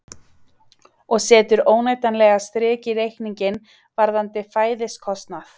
Og setur óneitanlega strik í reikninginn varðandi fæðiskostnað.